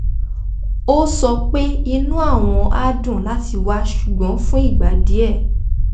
ó sọ pé inú àwọn á dùn láti wá ṣùgbọ́n fún ìgbà díẹ̣̀